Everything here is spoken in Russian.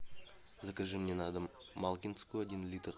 закажи мне на дом малкинскую один литр